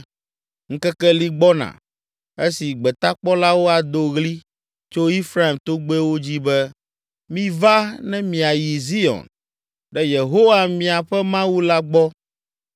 Ŋkeke li gbɔna, esi gbetakpɔlawo ado ɣli tso Efraim togbɛwo dzi be, ‘Miva ne miayi Zion, ɖe Yehowa miaƒe Mawu la gbɔ.’ ”